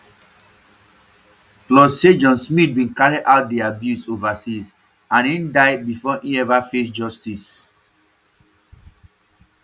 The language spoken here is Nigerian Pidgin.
plus say john smyth bin carry out di abuse overseas and e um die bifor e ever face justice um